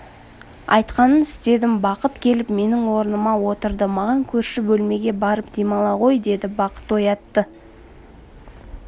айтқанын істедім бақыт келіп менің орныма отырды маған көрші бөлмеге барып демала ғой деді бақыт оятты